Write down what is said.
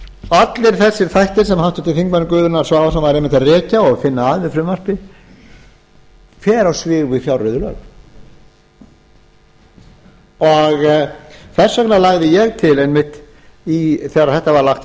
allir þessir þættir sem háttvirtur þingmaður gunnar svavarsson var einmitt að rekja og finna að við frumvarpið fer á svig við fjárreiðulög og þess vegna lagði ég til einmitt þegar þetta var lagt